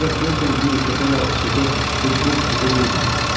Ancaq deyəsən bu yekəpər ağılsızlar heç bu fikirdə deyildilər.